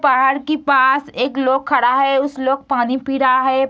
पहाड़ की पास एक लोग खड़ा है उस लोक पानी पी रहा है।